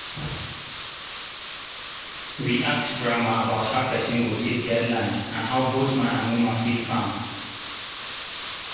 we act drama about how person go take get land and how both man and woman fit farm